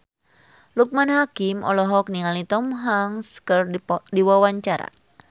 Loekman Hakim olohok ningali Tom Hanks keur diwawancara